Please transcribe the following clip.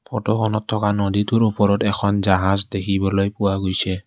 ফটোখনত থকা নদীটোৰ ওপৰত এখন জাহাজ দেখিবলৈ পোৱা গৈছে।